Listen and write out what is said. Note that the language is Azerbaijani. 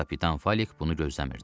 Kapitan Falik bunu gözləmirdi.